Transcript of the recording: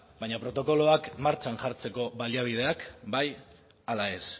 baina protokoloak martxan jartzeko baliabideak bai ala ez